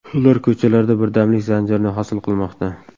Ular ko‘chalarda birdamlik zanjirini hosil qilmoqda.